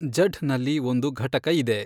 ಜಢ್ ನಲ್ಲಿ ಒಂದು ಘಟಕ ಇದೆ.